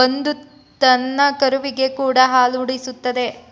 ಬಂದುತನ್ನಕರುವಿಗೆಕೂಡಾ ಹಾಲೂಡಿಸುತ್ತದೆ